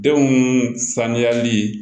Denw sanuyali